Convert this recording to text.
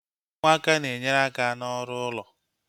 Ụmụaka na-enyere aka n'ọrụ ụlọ